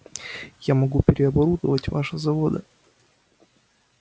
я могу переоборудовать ваши заводы